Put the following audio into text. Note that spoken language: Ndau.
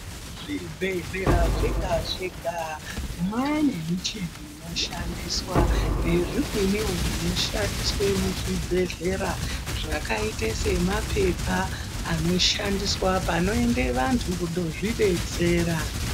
Zvibhedhlera zvega zvega mwane michini inoshandiswa nezvimweni zvinoshandiswa zvakaite semapepa anoshandiswa panoende vantu kunozvidetsera.